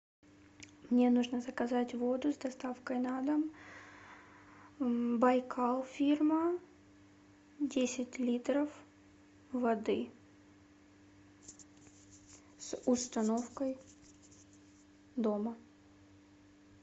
мне нужно заказать воду с доставкой на дом байкал фирма десять литров воды с установкой дома